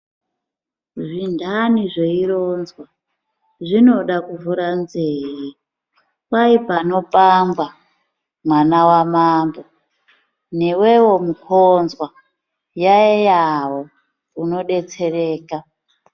Zvinthani zveironzwa zvinoda kuvhura nzee. Kwai panopangwa mwana wamambo newewo mukhonzwa yaiyawo unodetsereka.